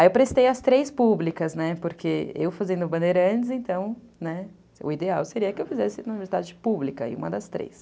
Aí eu prestei as três públicas, né, porque eu fazendo bandeira antes, então, né, o ideal seria que eu fizesse na universidade pública, aí uma das três.